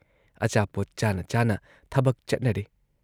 ꯑꯆꯥꯄꯣꯠ ꯆꯥꯅ ꯆꯥꯅ ꯊꯕꯛ ꯆꯠꯅꯔꯦ ꯫